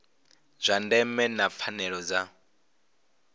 zwa ndeme na pfanelo dza